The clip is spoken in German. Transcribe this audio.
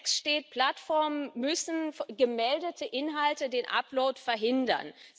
Im Text steht Plattformen müssen für gemeldete Inhalte den Upload verhindern.